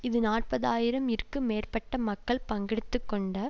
இது நாற்பது ஆயிரம் இற்கு மேற்பட்ட மக்கள் பங்கெடுத்து கொண்ட